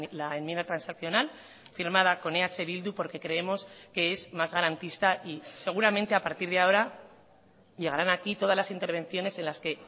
la enmienda transaccional firmada con eh bildu porque creemos que es más garantista y seguramente a partir de ahora llegarán aquí todas las intervenciones en las que